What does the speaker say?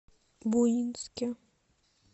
буинске